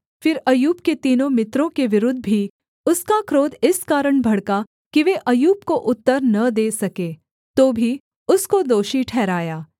फिर अय्यूब के तीनों मित्रों के विरुद्ध भी उसका क्रोध इस कारण भड़का कि वे अय्यूब को उत्तर न दे सके तो भी उसको दोषी ठहराया